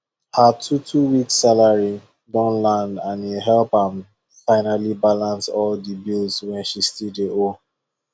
her twotwo weeks salary don land and e help am finally balance all the bills wey she still dey owe